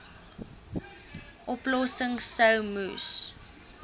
oplossings sou moes